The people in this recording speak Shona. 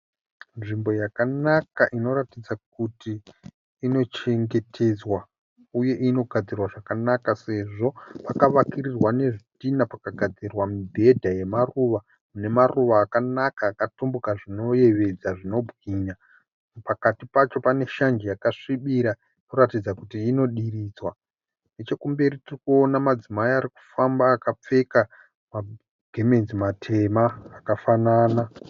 Nzvimbo yakanaka inoratidza kuti inochengetedzwa uye inogadzirwa zvakanaka sezvo pakavakirirwa nezvitinha pakagadzirwa mibhedha yemaruva nemaruva akanaka akatumbuka zvinoyevedza, zvinobwinya. Pakati pacho pane shanje yakasvibira inoratidza kuti inodiridzwa. Nechekumberi tiri kuona madzimai ari kufamba akapfeka magemenzi matema akafanana.